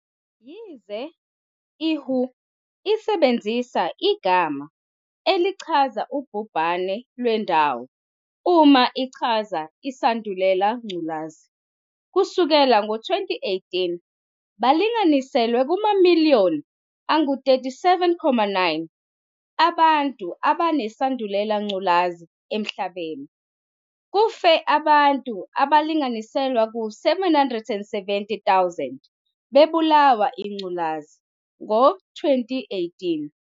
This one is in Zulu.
Yize i-WHO isebenzisa igama elichaza ubhubhane lwendawo uma ichaza isandulela ngculazi. Kusukela ngo-2018, balinganiiselwa kumamiliyoni angu-37.9 abantu abanesandulela ngculazi emhlabeni. kufe abantu abalinganiselwa ku-770 000, bebulawa ingculazi ngo-2018.